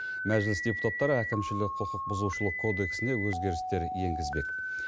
мәжіліс депутаттары әкімшілік құқық бұзушылық кодексіне өзгерістер енгізбек